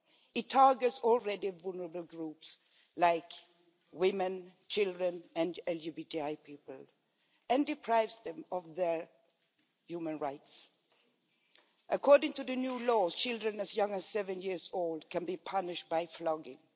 It targets already vulnerable groups like women, children and LGBTI people, and deprives them of their human rights. According to the new laws, children as young as seven years old can be punished by flogging.